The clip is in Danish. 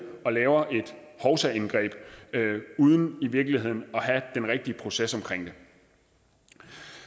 og laver et hovsaindgreb uden i virkeligheden at have den rigtige proces omkring det